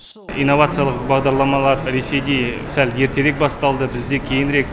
инновациялық бағдарламалар ресейде сәл ертерек басталды бізде кейінірек